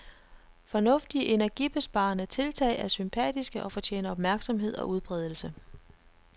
Fornuftige energibesparende tiltag er sympatiske og fortjener opmærksomhed og udbredelse.